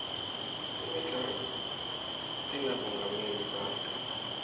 temidlalo tinabomongameli bato